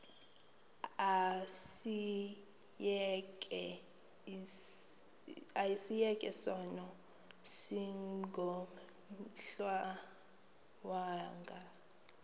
asiyeke sono smgohlwaywanga